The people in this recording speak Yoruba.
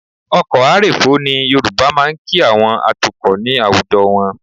Ọkọ̀ a rèfó ni Yorùbá máa ń kí àwọn atukọ̀ ní àwùjọ wọn